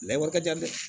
Lawa ka ca dɛ